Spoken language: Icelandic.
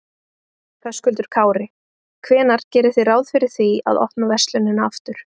Höskuldur Kári: Hvenær gerið þið ráð fyrir því að opna verslunina aftur?